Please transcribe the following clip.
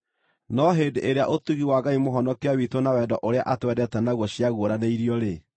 No hĩndĩ ĩrĩa ũtugi wa Ngai Mũhonokia witũ na wendo ũrĩa atwendete naguo ciaguũranĩirio-rĩ,